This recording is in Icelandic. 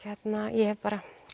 ég heg bara